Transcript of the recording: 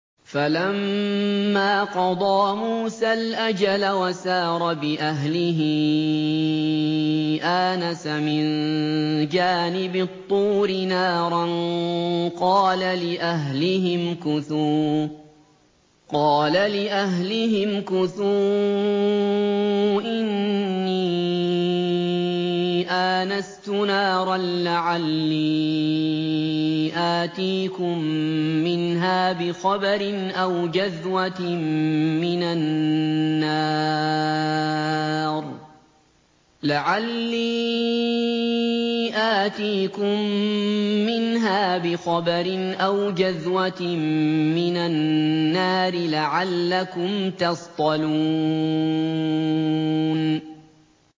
۞ فَلَمَّا قَضَىٰ مُوسَى الْأَجَلَ وَسَارَ بِأَهْلِهِ آنَسَ مِن جَانِبِ الطُّورِ نَارًا قَالَ لِأَهْلِهِ امْكُثُوا إِنِّي آنَسْتُ نَارًا لَّعَلِّي آتِيكُم مِّنْهَا بِخَبَرٍ أَوْ جَذْوَةٍ مِّنَ النَّارِ لَعَلَّكُمْ تَصْطَلُونَ